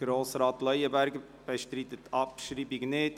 Grossrat Leuenberger bestreitet die Abschreibung nicht.